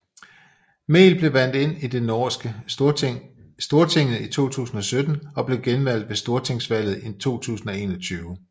Mehl blev valgt ind i det norske Stortinget i 2017 og blev genvalgt ved Stortingsvalget 2021